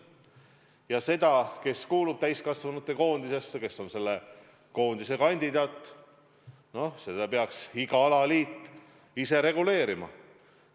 Ja seda, kes kuulub täiskasvanute koondisesse, kes on selle koondise kandidaat, peaks iga alaliit ise reguleerima.